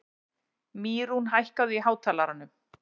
Mýrún, hækkaðu í hátalaranum.